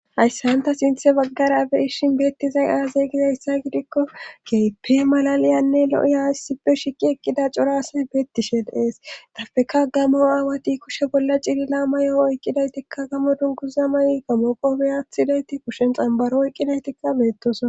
Hayssan ta sinthe baggara be7ishin beettizay aaze gizayssa gidikko keehippe malaliyanne lo7i hayssippe shiqi eqqida corasay beettisheneestapeka gammo aawati kushe bolla cilila ma yo7o oyqqidaytikka gamo dunkuza may gamoqoopeyathidayti kushen xambaro oyqqidaytikka beettosa.